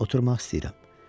Oturmaq istəyirəm.